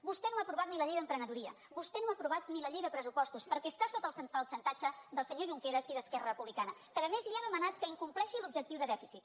vostè no ha aprovat ni la llei d’emprenedoria vostè no ha aprovat ni la llei de pressupostos perquè està sota el xantatge del senyor junqueras i d’esquerra republicana que a més li ha demanat que incompleixi l’objectiu de dèficit